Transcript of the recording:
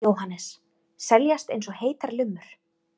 Jóhannes: Seljast eins og heitar lummur?